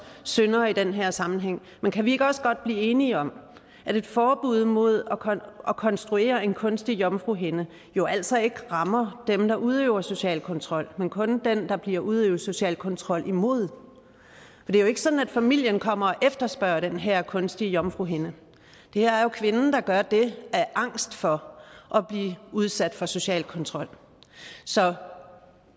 syndere i den her sammenhæng men kan vi ikke også godt blive enige om at et forbud mod at konstruere en kunstig jomfruhinde jo altså ikke rammer dem der udøver social kontrol men kun den der bliver udøvet social kontrol imod det er jo ikke sådan at familien kommer og efterspørger den her kunstige jomfruhinde det er jo kvinden der gør det af angst for at blive udsat for social kontrol så